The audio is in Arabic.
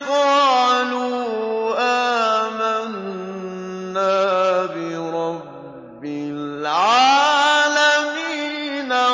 قَالُوا آمَنَّا بِرَبِّ الْعَالَمِينَ